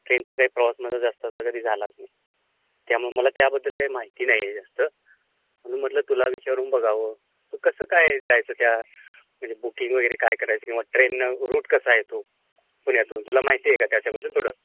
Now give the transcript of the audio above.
ट्रेनचा काय प्रवास जास्त असा माझा कधी झालाचं नाही. त्यामुळं मला त्याबद्दल काही माहिती नाहीये जास्त. म्हणून म्हटलं तुला विचारुन बघावं, मग कसं काय जायचं त्या तिकडे, बुकींगवगैरे काय करायचं? ट्रेननं रूट कसा आहे तो पुण्यातून? तुला माहितेय का त्याच्याबद्दल थोडं?